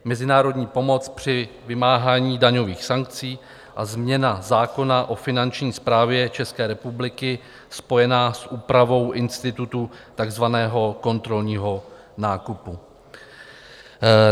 Mezinárodní pomoc při vymáhání daňových sankcí a změna zákona o finanční správě České republiky spojená s úpravou institutu takzvaného kontrolního nákupu.